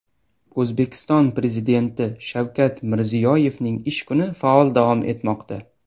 O‘zbekiston Prezidenti Shavkat Mirziyoyevning ish kuni faol davom etmoqda.